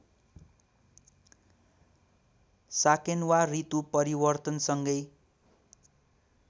साकेन्वा ऋतु परिवर्तनसँगै